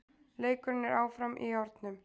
Leikurinn er áfram í járnum